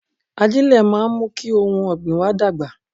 Ajílẹ̀ máa ń mú kí ohun ọ̀gbìn wa dàgbà